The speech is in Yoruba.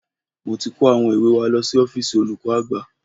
Mo ti kó àwọn ìwé wa lọ sí ọ́fíìsì olùkọ́ àgbà